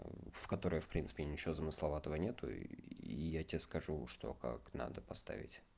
в которой в принципе ничего замысловато нет и я тебе скажу что как надо поставить